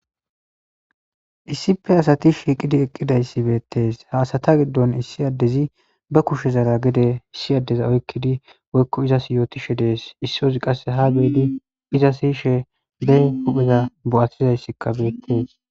issife asati shiiqidi eqqidayssi beettees haasata giddon issi addezi ba kushezara gede issi addeza oykkidi woykko izas yootishe dees issoozi qasse ha beedi iza siyishe bey hupheza bo7attizayssikkabeettees